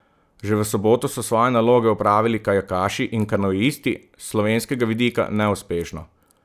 Že v soboto so svoje naloge opravili kajakaši in kanuisti, s slovenskega vidika neuspešno.